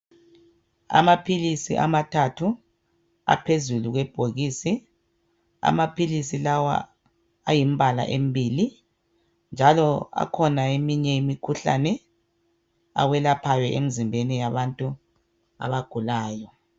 Amaphilisi amathathu aphezulu kwebhokisi , amaphilisi lawa ayimbala embili .Njalo akhona eminye imikhuhlane awelaphayo emzimbeni yabantu abagulayo.